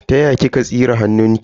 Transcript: Ta ya kika tsire hannunki?